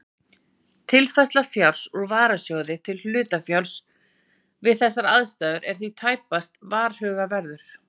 Tilfærsla fjár úr varasjóði til hlutafjár við þessar aðstæður er því tæpast varhugaverður.